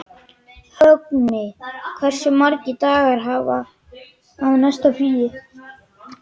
Högni, hversu margir dagar fram að næsta fríi?